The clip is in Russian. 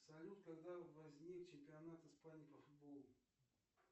салют когда возник чемпионат испании по футболу